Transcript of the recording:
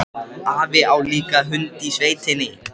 Afi á líka hund í sveitinni.